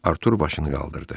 Artur başını qaldırdı.